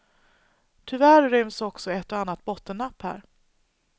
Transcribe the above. Tyvärr ryms också ett och annat bottennapp här.